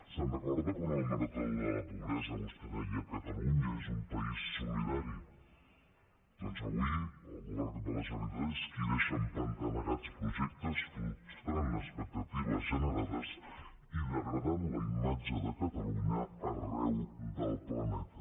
se’n recorda quan a la marató per la pobresa vostè deia catalunya és un país solidari doncs avui el govern de la generalitat és qui deixa empantanegats projectes frustrant expectatives generades i degradant la imatge de catalunya arreu del planeta